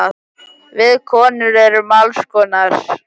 Við konur erum alls konar.